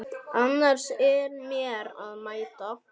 Annars er mér að mæta!